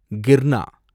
கிர்னா